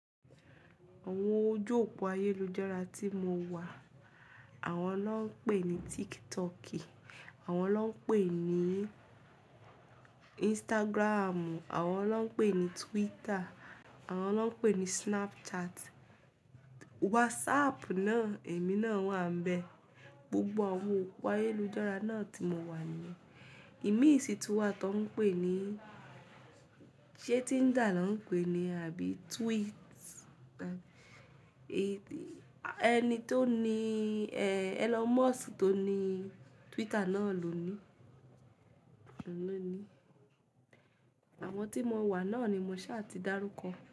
Àwọn ojú òpó ayélujára tí mo wà, àwọn lọ́ ń pè ní TikTok, àwọn lọ́ ń pè ní Instagram, àwọn lọ́ ń pè ní Twitter, àwọn lọ́ ń pè ní Snapchat. WhatsApp náà, èmi náà wà níbẹ̀. Gbogbo àwọn òpó ayélujára náà tí mo wà ní, ìmísìtúwà tó ń pè ní, ṣé Tinder ló ń pè é ní, àbí Tweet? Ẹni tó ní, Elon Musk tó ní Twitter náà ló ní. Àwọn tí mo wà náà ni mo ṣà ti dárúkọ.